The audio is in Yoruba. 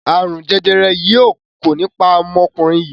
arun jẹjẹrẹ yii yóò kò ní pá omokunrin yii.